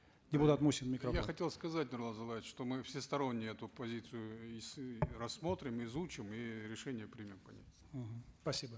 депутат мусин микрофон я хотел сказать нурлан зайроллаевич что мы всесторонне эту позицию и рассмотрим изучим и решение примем по ним мгм спасибо